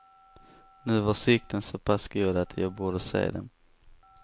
Nu var sikten så pass god att jag borde se dem.